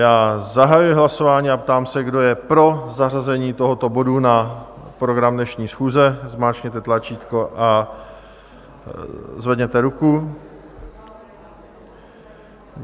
Já zahajuji hlasování a ptám se, kdo je pro zařazení tohoto bodu na program dnešní schůze, zmáčkněte tlačítko a zvedněte ruku.